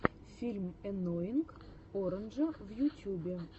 фильм энноинг оранджа в ютюбе